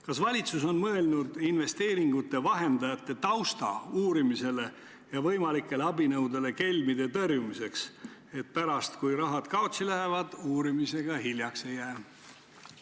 Kas valitsus on mõelnud investeeringute vahendajate tausta uurimisele ja võimalikele abinõudele kelmide tõrjumiseks, et pärast, kui raha kaotsi läheb, uurimisega hiljaks ei jää?